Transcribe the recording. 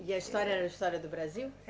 E a história era a história do Brasil? Eh